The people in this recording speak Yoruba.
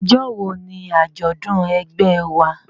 Ọjọ́ wo ni àjọ̀dún ẹgbẹ́ ẹ wa?